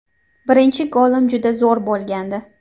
Birinchi golim juda zo‘r bo‘lgandi.